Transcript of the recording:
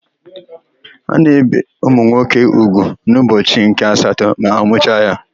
A na-ébè nwa nwoke úgwù n'ụbọchị nke asatọ ma amụcha ya.